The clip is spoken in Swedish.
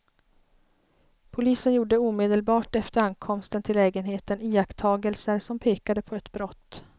Polisen gjorde omedelbart efter ankomsten till lägenheten iakttagelser som pekade på ett brott.